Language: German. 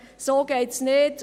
So geht es nicht!